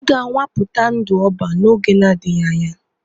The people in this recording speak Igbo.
Ị ga-anwapụta ndụ ọban n'oge na-adịghị anya!